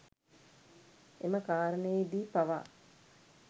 එම කාරණයේදී පවා